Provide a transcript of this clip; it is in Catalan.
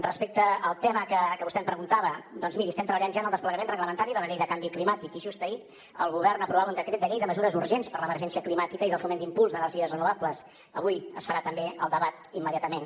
respecte al tema que vostè em preguntava doncs miri estem treballant ja en el desplegament reglamentari de la llei de canvi climàtic i just ahir el govern aprovava un decret llei de mesures urgents per a l’emergència climàtica i de foment i impuls d’energies renovables avui se’n farà també el debat immediatament